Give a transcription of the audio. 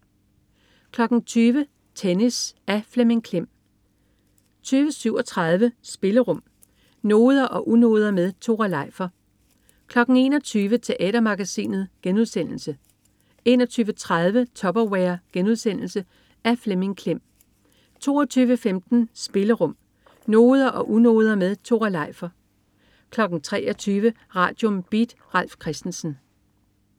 20.00 Tennis. Af Flemming Klem 20.37 Spillerum. Noder og unoder med Tore Leifer 21.00 Teatermagasinet* 21.30 Tupperware.* Af Flemming Klem 22.15 Spillerum. Noder og unoder med Tore Leifer 23.00 Radium. Beat. Ralf Christensen